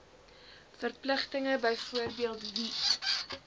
verpligtinge byvoorbeeld wie